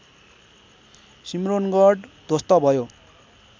सिम्रोनगढ ध्वस्त भयो